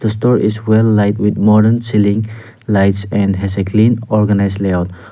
the store is well light with modern ceiling lights and has a clean organised layout.